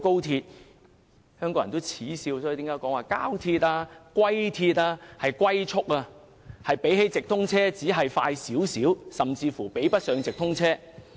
香港人耻笑高鐵為"膠鐵"或"龜鐵"，車速只比直通車快少許，甚至比不上直通車。